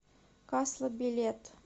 касла билет